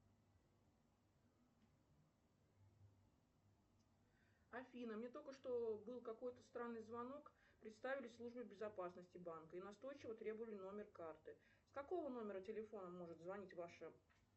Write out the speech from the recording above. афина мне только что был какой то странный звонок представились службой безопасности банка и настойчиво требовали номер карты с какого номера телефона может звонить ваша